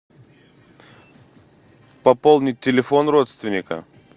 пополнить телефон родственника